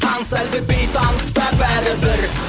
таныс әлде бейтаныс па бәрібір